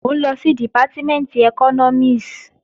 Mò ń lọ sí Dìpátímẹ̀ntì ẹkọ́nọ́mìs